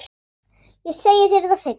Ég segi þér það seinna.